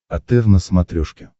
отр на смотрешке